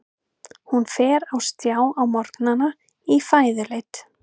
Hún fer á stjá á morgnana í fæðuleit.